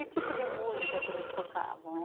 Que tipo de música que eles tocavam?